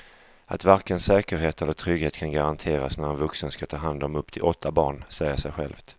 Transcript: Att varken säkerhet eller trygghet kan garanteras när en vuxen ska ta hand om upp till åtta barn säger sig självt.